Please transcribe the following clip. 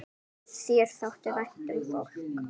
Þér þótti vænt um fólk.